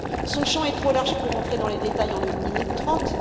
Son champ est trop large pour entrer dans les détails en une minute trente.